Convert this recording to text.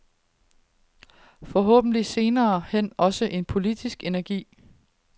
Forhåbentlig senere hen også lidt politisk energi?